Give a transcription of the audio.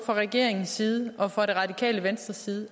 fra regeringens side og fra det radikale venstres side